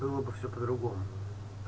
было бы все по-другому